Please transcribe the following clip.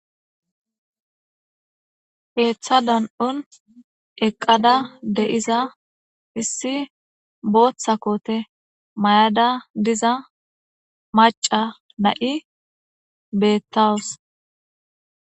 heeththa dan7un eqqada de7iza hissi booththa koote may7ada diza maca na7i bettawus